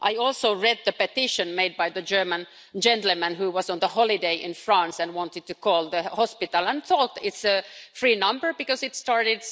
I also read the petition made by the German gentleman who was on holiday in France and wanted to call the hospital and thought it was a free number because it started